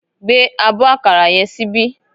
Gbé abọ́ àkàrà yẹn síbí